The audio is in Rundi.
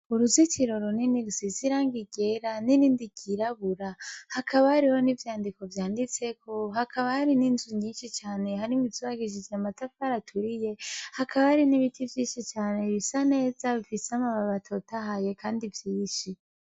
Uruzitiro runini rusize irangi ryera n'irindi ryirabura hakaba hariho n'ivyandiko vyanditseko hakaba hari n'inzu nyishi cane harimwo izubakishije amatafari aturiye hakaba hari n'ibiti vyinshi cane bisa neza bifise amababi atotahaye kandi vyinshi.